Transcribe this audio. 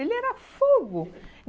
Ele era fogo.